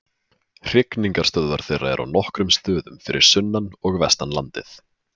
Hrygningarstöðvar þeirra eru á nokkrum stöðum fyrir sunnan og vestan landið.